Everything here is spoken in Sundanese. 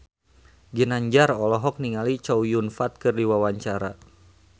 Ginanjar olohok ningali Chow Yun Fat keur diwawancara